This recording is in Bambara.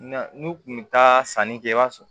Na n'u kun bɛ taa sanni kɛ i b'a sɔrɔ